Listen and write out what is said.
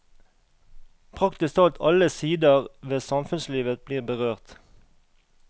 Praktisk talt alle siderved samfunnslivet blir berørt.